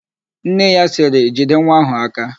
Nne ya sịrị, "jide nwa áhụ̀ aka"!